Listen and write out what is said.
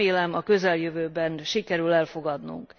Remélem, a közeljövőben sikerül elfogadnunk.